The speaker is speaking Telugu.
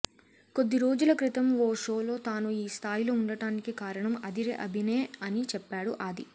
కొద్ది రోజుల క్రితం ఓ షోలో తాను ఈ స్థాయిలో ఉండడానికి కారణం అదిరే అభినే అని చెప్పాడు ఆది